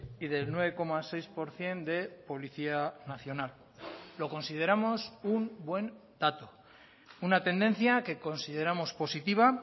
y del nueve coma seis por ciento de policía nacional lo consideramos un buen dato una tendencia que consideramos positiva